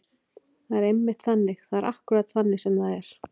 Það er einmitt þannig. það er akkúrat þannig sem það er.